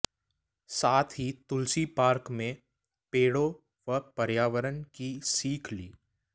साथ ही तुलसी पार्क में पेड़ों व पर्यावरण की सीख ली